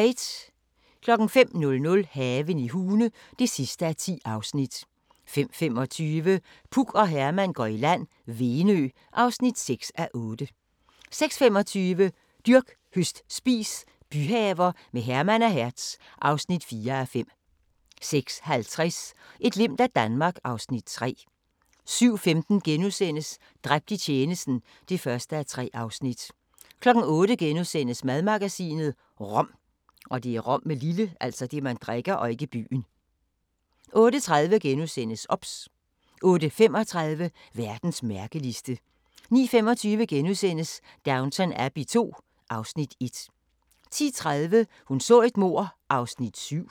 05:00: Haven i Hune (10:10) 05:25: Puk og Herman går i land - Venø (6:8) 06:25: Dyrk, høst, spis – byhaver med Herman og Hertz (4:5) 06:50: Et glimt af Danmark (Afs. 3) 07:15: Dræbt i tjenesten (1:3)* 08:00: Madmagasinet – rom * 08:30: OBS * 08:35: Verdens mærkeligste 09:25: Downton Abbey II (Afs. 1)* 10:30: Hun så et mord (7:268)